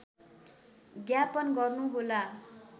ज्ञापन गर्नुहोला